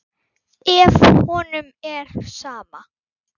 Ef honum er sama.